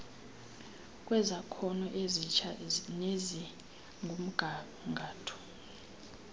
kwezakhono ezitsha nezikumgangatho